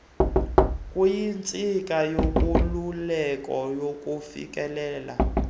kuyintsika yenkululeko yokufikelela